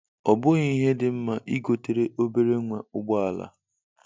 Ọbughi ihe dị mma, I gotere obere nwa ụgbọ ala.